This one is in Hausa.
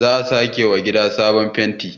za a sake wa gida sabon fenti